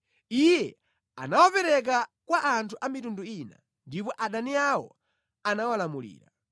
Iye anawapereka kwa anthu a mitundu ina, ndipo adani awo anawalamulira.